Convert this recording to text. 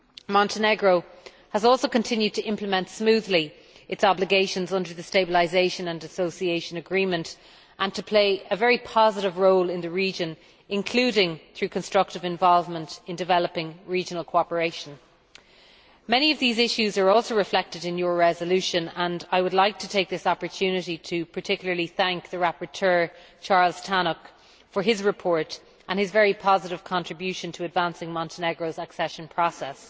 Montenegro has also continued to implement smoothly its obligations under the Stabilisation and Association Agreement and to play a very positive role in the region, including through constructive involvement in developing regional cooperation. Many of these issues are also reflected in your resolution, and I would like to take this opportunity to particularly thank the rapporteur, Charles Tannock, for his report and his very positive contribution to advancing Montenegro's accession process.